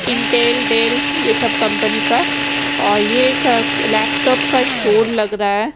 Intel Dell ये सब company का अ ये एक लैपटॉप का स्टोर लग रहा--